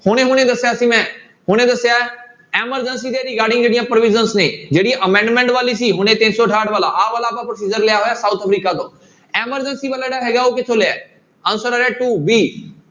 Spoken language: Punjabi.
ਹੁਣੇ ਹੁਣੇ ਦੱਸਿਆ ਸੀ ਮੈਂ ਹੁਣੇ ਦੱਸਿਆ ਹੈ emergency ਦੇ regarding ਜਿਹੜੀਆਂ provisions ਨੇ ਜਿਹੜੀ amendment ਵਾਲੀ ਸੀ ਹੁਣੇ ਤਿੰਨ ਸੌ ਅਠਾਹਟ ਵਾਲਾ ਆਹ ਵਾਲਾ ਆਪਾਂ procedure ਲਿਆ ਹੋਇਆ south ਅਫਰੀਕਾ ਤੋਂ emergency ਉਹ ਕਿੱਥੋਂ ਲਿਆ ਹੈ answer ਆ ਰਿਹਾ two b